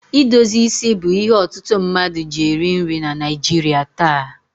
Idozi isi bụ ihe ọtụtụ mmadụ ji eri nri na Naịjirị taa.